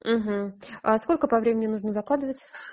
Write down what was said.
а сколько по времени нужно закладывать